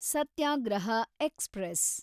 ಸತ್ಯಾಗ್ರಹ express